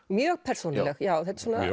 mjög persónuleg já